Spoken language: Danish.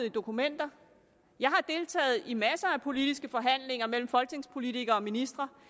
i dokumenter jeg har deltaget i masser af politiske forhandlinger mellem folketingspolitikere og ministre